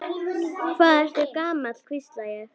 Hvað ertu gamall, hvísla ég.